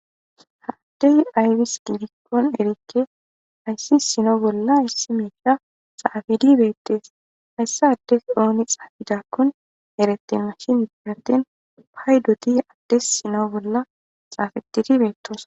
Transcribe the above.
Ha addey ayfis gidikkon erikke hayssi sino bolla ayssi meisha xaafidi beettees hayssa addes ooni xaafidakkun erette mashinidihatin pay doti addes sino bolla xaafettidi beettos